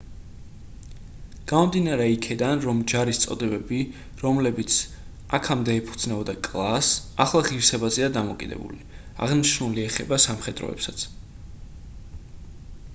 გამომდინარე იქედან რომ ჯარის წოდებები რომლებიც აქამდე ეფუძნებოდა კლასს ახლა ღირსებაზეა დამოკიდებული აღნიშნული ეხება სამხედროებსაც